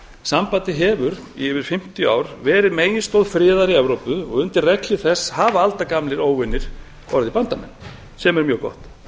sambandið hefur í yfir fimmtíu ár verið meginstoð friðar í evrópu og undir regnhlíf þess hafa aldagamlir óvinir orðið bandamenn sem er mjög gott